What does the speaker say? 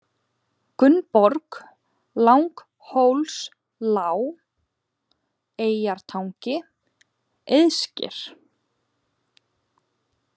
Grunnborg, Langhólslág, Eyjartangi, Eiðsker